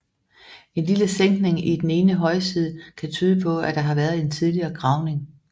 En lille sænkning i den ene højside kan tyde på at der har været en tidligere gravning